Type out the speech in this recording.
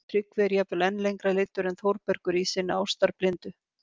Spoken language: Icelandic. Tryggvi er jafnvel enn lengra leiddur en Þórbergur í sinni ástarblindu